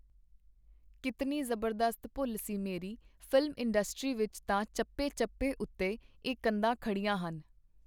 ਕੀਤਨੀ ਜ਼ਬਰਦਸਤ ਭੁੱਲ ਸੀ ਮੇਰੀ! ਫ਼ਿਲਮ ਇੰਡਸਟਰੀ ਵਿਚ ਤਾਂ ਚੱਪੇ-ਚੱਪੇ ਉਤੇ ਇਹ ਕੰਧਾਂ ਖੜੀਆਂ ਹਨ.